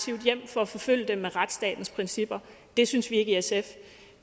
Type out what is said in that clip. hjem for at forfølge det med retsstatens principper det synes vi ikke i sf